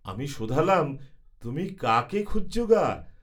আমি শোধালাম, ‘তুমি কাকে খুঁজছ গা?